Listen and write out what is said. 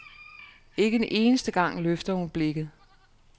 Ikke en eneste gang løfter hun blikket.